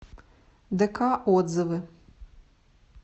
дк отзывы